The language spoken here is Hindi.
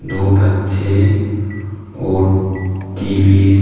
दो बच्चे और टी_वी --